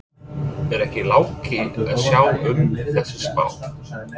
Er ekki Láki að sjá um þessa spá?